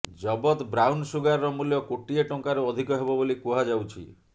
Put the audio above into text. ଜବତ ବ୍ରାଉନସୁଗାରର ମୂଲ୍ୟ କୋଟିଏ ଟଙ୍କାରୁ ଅଧିକ ହେବ ବୋଲି କୁହାଯାଉଛି